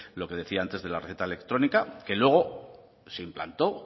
lo que decía antes de la receta electrónica que luego se implantó